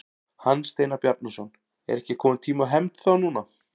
Hans Steinar Bjarnason: Er ekki kominn tími á hefnd þá núna?